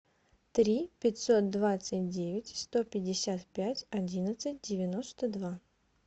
три пятьсот двадцать девять сто пятьдесят пять одиннадцать девяносто два